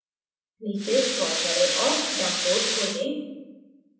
नीचे scroll करें और download खोजें